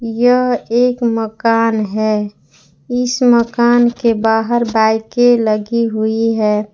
यह एक मकान है इस मकान के बाहर बाईकें के लगी हुई हैं।